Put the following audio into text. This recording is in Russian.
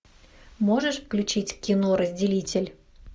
можешь включить кино разделитель